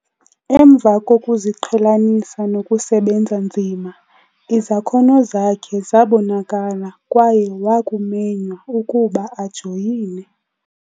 Emva kokuziqhelanisa nokusebenza nzima, izakhono zakhe zabonakala kwaye wakumenywa ukuba ajoyine